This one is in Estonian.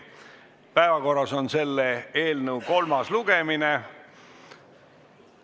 Päevakorras on selle eelnõu kolmas lugemine.